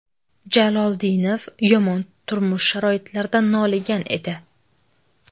Jaloldinov yomon turmush sharoitlaridan noligan edi.